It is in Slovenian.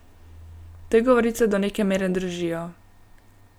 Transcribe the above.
Te govorice do neke mere držijo.